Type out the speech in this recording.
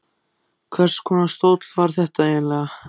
Hvers konar stóll var þetta eiginlega?